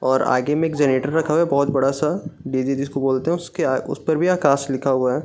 और आगे में एक जनरेटर रखा हुआ है बहुत बड़ा-सा जिसको बोलते हैं उसके उस पर भी आकाश लिखा हुआ है।